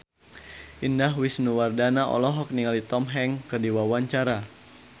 Indah Wisnuwardana olohok ningali Tom Hanks keur diwawancara